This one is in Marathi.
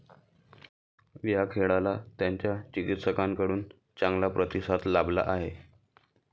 या खेळाला त्याच्या चिकित्सकांकडून चांगला प्रतिसाद लाभला आहे.